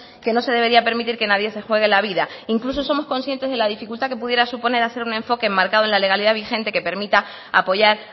que no se debería permitir que nadie se juegue la vida e incluso somos consciente de la dificultad que pudiera suponer hacer un enfoque enmarcado en la legalidad vigente que permita apoyar